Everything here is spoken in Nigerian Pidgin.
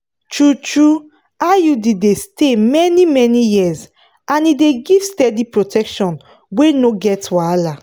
true-true iud dey stay many-many years and e dey give steady protection wey no get wahala.